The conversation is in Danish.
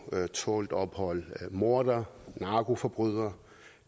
tålt ophold mordere narkoforbrydere